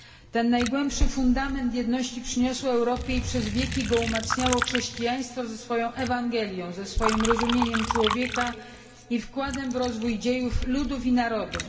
Ten najgłębszy fundament jedności przyniosło Europie i przez wieki go umacniało chrześcijaństwo ze swoją Ewangelią, ze swoim rozumieniem człowieka i wkładem w rozwój dziejów, ludów i narodów.